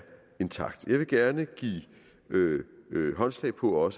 intakt jeg vil også gerne give håndslag på at